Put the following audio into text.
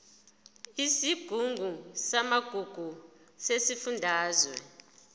isigungu samagugu sesifundazwe